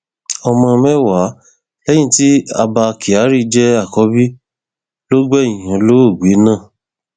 ọmọ mẹwàá léyìí tí abba kyari jẹ àkọbí ló gbẹyìn olóògbé náà